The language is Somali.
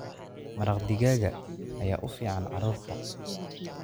Maraq digaaga ayaa u fiican carruurta.